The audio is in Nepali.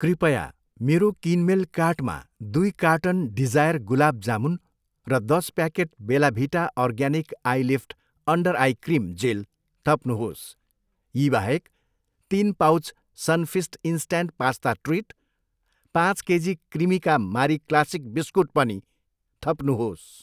कृपया मेरो किनमेल कार्टमा दुई कार्टन डिजायर गुलाब जामुन र दस packet Bella Vita organic eyelift under eye cream gel थप्नुहोस्। यी बाहेक, तिन pouch Sunfeast instant pasta treat, पाँच KG Cremica Marie classic biscuit पनि थप्नुहोस्।